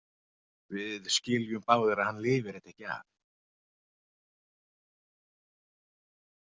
Við skiljum báðir að hann lifir þetta ekki af.